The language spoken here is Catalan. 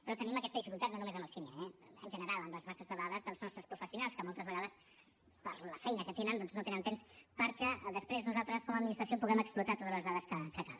però tenim aquesta dificultat no només amb el sini eh en general amb les bases de dades dels nostres professionals que moltes vegades per la feina que tenen doncs no tenen temps perquè després nosaltres com a administració puguem explotar totes les dades que cal